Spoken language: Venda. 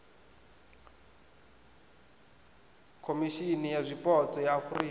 khomishimi ya zwipotso ya afurika